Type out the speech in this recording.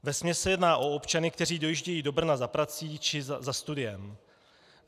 Vesměs se jedná o občany, kteří dojíždějí do Brna za prací či za studiem.